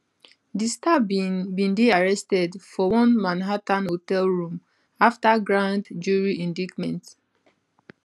di star bin bin dey arrested for one manhattan hotel room afta grand jury indictment